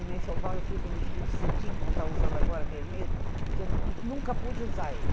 Em meu enxoval eu fiz um vestido cetim, como eu estou usando agora, vermelho, que eu nunca, nunca pude usar ele.